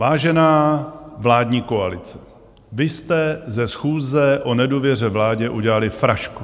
Vážená vládní koalice, vy jste ze schůze o nedůvěře vládě udělali frašku.